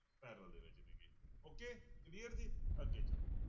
Parallel ਦੇ ਵਿੱਚ ਨੇ ਗੇ okay clear ਜੀ ਅੱਗੇ ਚਲੋ।